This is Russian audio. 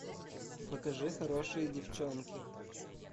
покажи хорошие девчонки